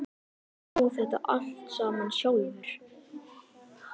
Hann á þetta allt saman sjálfur.